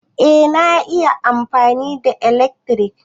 Eh na iya amfani da ilekri.